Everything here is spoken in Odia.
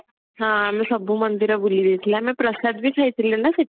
ହଁ ଆମେ ସବୁ ମନ୍ଦିର ବୁଲି ଦେଇଥିଲେ ଆମେ ପ୍ରସାଦ ବି ଖାଇଥିଲେ ନା ସେଠି